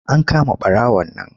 An kama ɓarawon nan.